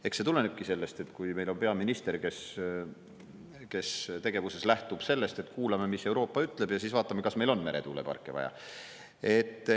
Eks see tulenebki sellest, et meil on peaminister, kes oma tegevuses lähtub sellest, et kuulame, mis Euroopa ütleb, ja siis vaatame, kas meil on meretuuleparke vaja.